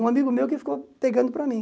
Um amigo meu que ficou pegando para mim.